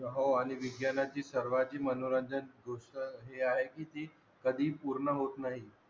हो आणि विज्ञाना ची सर्वांची मनोरंजक गोष्ट हे आहे कि ते कधी पूर्ण होत नाही